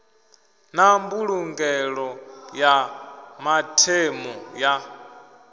na mbulungelo ya mathemu ya